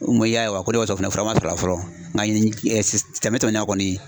N ko i y'a ye wa, ko ne fura ma sɔrɔ fɔlɔ n ka tɛmɛnen in na kɔni